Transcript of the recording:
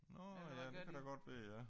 Nåh ja det kan da godt være ja